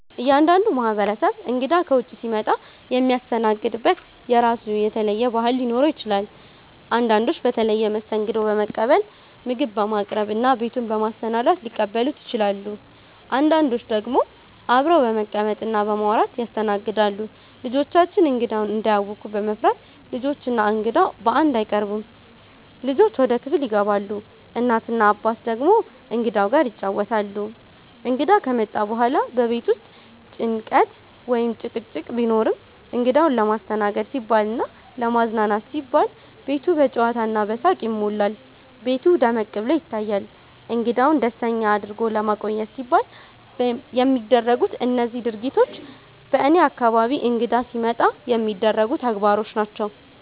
እያንዳንዱ ማህበረሰብ እንግዳ ከውጭ ሲመጣ የሚያስተናግድበት የራሱ የተለየ ባህል ሊኖረው ይችላል። አንዳንዶች በተለየ መስተንግዶ በመቀበል፣ ምግብ በማቅረብ እና ቤቱን በማሰናዳት ሊቀበሉ ይችላሉ። አንዳንዶች ደግሞ አብረው በመቀመጥ እና በማውራት ያስተናግዳሉ። ልጆቻችን እንግዳውን እንዳያውኩ በመፍራት፣ ልጆች እና እንግዳው በአንድ አይቀርቡም፤ ልጆች ወደ ክፍል ይገባሉ፣ እናት እና አባት ደግሞ እንግዳው ጋር ይጫወታሉ። እንግዳ ከመጣ በኋላ በቤት ውስጥ ጭንቀት ወይም ጭቅጭቅ ቢኖርም፣ እንግዳውን ለማስተናገድ ሲባልና ለማዝናናት ሲባል ቤቱ በጨዋታ እና በሳቅ ይሞላል፤ ቤቱ ደመቅ ብሎ ይታያል። እንግዳውን ደስተኛ አድርጎ ለማቆየት ሲባል የሚደረጉት እነዚህ ድርጊቶች በእኔ አካባቢ እንግዳ ሲመጣ የሚደረጉ ተግባሮች ናቸው።